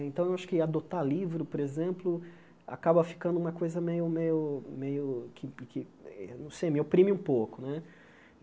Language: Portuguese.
Então, eu acho que adotar livro, por exemplo, acaba ficando uma coisa meio meio meio que que, eh não sei, me oprime um pouco né.